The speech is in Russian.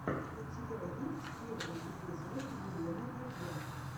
у тебя есть первый эпизод елены вальяк